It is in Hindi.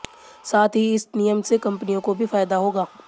साथ ही इस नियम से कंपनियों को भी फायदा होगा